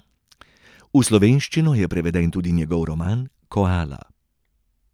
V slovenščino je preveden tudi njegov roman Koala.